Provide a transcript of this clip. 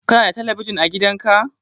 Kana da talabijin a gidan ka?